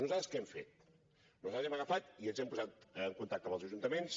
nosaltres què hem fet nosaltres hem agafat i ens hem posat en contacte amb els ajuntaments